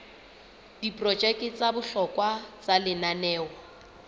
diprojeke tsa bohlokwa tsa lenaneo